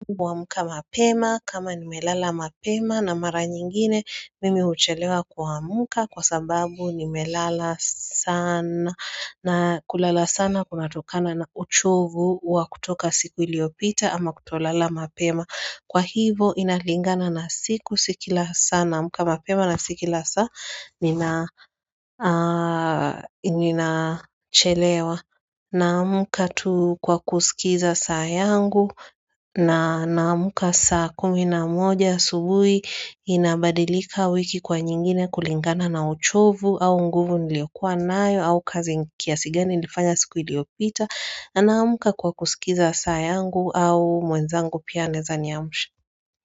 Amka mapema kama nimelala mapema na mara nyingine mimi uchelewa kuamka kwa sababu nimelala sana na kulala sana kumatokana na uchovu wa kutoka siku iliopita ama kutolala mapema Kwa hivo inalingana na siku sikila sana muka mapema na sikila saa nina chelewa Naamuka tu kwa kusikiza saa yangu na namuka saa kuminamoja subui inabadilika wiki kwa nyingine kulingana na uchovu au nguvu niliokua nayo au kazi nkia sigeni nifanya siku iliopita Naamuka kwa kusikiza saa yangu au mwenzangu pia andezanya mshu.